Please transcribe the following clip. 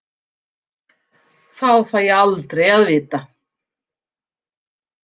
Það fæ ég aldrei að vita.